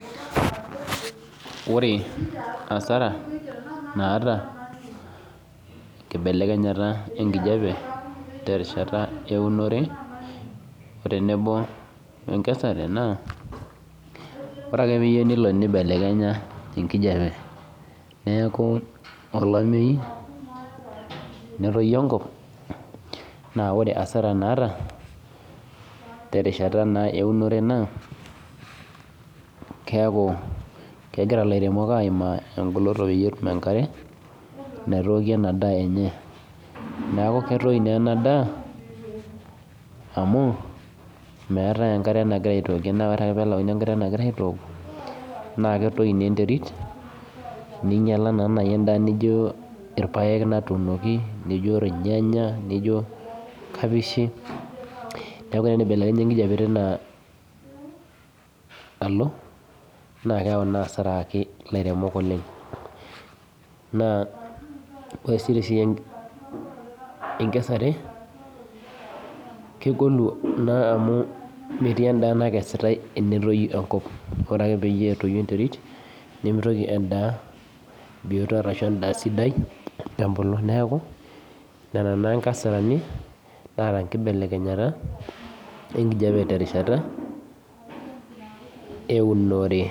Ore asara naatankibelekenyata enkijape terishata uenoto otenebo enkesare na ore ake peyieu nibelekenya enkijape neaku olameyu neroi enkop na ore asara naata twrishat eunoto na keaku kegira laremok aimaa engolikino tesiai enkare naitooki ena daa enye neaku ketoi enadaa amu meetae enkare nagirai aitok na ketoi na enterit ninyala endaa nijo irpaek natuunoki nijobirnyanya, kapishi neaku tenibelekenya enkijape tinaalonna keyau na asara pii na ore si tesiai enkesare kegolu na amu metiu endaa nakesitae tenetoyu enkop ore ake tenetoyu enterit nimitoki endaaa sidai abulu neaku nona na nkasarani naata enkibelekenyata oloingangi tenkata eunore.